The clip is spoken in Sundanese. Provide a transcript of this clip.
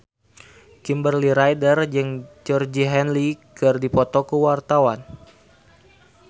Kimberly Ryder jeung Georgie Henley keur dipoto ku wartawan